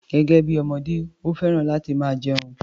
Gẹ́gẹ́ bí ọmọdé, ó fẹ́ràn láti máa jẹun.